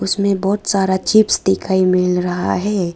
उसमें बहोत सारा चिप्स दिखाई मिल रहा है।